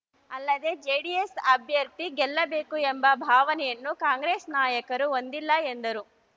ಅಲ್ಲದೆ ಜೆಡಿಎಸ್‌ ಅಭ್ಯರ್ಥಿ ಗೆಲ್ಲಬೇಕು ಎಂಬ ಭಾವನೆಯನ್ನೂ ಕಾಂಗ್ರೆಸ್‌ ನಾಯಕರು ಹೊಂದಿಲ್ಲ ಎಂದರು